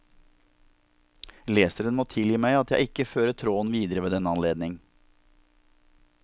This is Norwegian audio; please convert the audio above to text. Leseren må tilgi meg at jeg ikke fører tråden videre ved denne anledning.